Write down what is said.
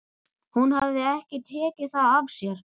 Hún hafði ekki tekið það af sér.